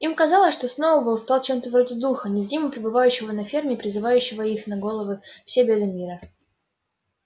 им казалось что сноуболл стал чем-то вроде духа незримо пребывающего на ферме и призывающего на их головы все беды мира